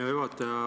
Hea juhataja!